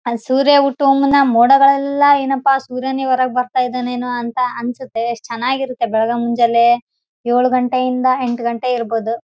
ಆಸೂರ್ಯ ಹುಟ್ಟುವ ಮುನ್ನ ಮೋಡಗಳೆಲ್ಲ ಏನಪಾ ಅಂದ್ರೆ ಸೂರ್ಯ ನೇ ಹೊರಗ್ ಬರ್ತಾ ಇದ್ದಾನೆ ಅನ್ಸುತ್ತೆ ಯೆಸ್ಟ್ ಚೆನ್ನಾಗಿರುತ್ತೆ ಬೆಳಗ್ಗೆ ಮುಂಜಾಲೆ ಏಳು ಗಂಟೆ ಇಂದ ಎಂಟು ಗಂಟೆ ಇರಬಹದು.